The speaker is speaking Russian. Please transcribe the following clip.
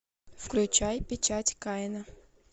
включай печать каина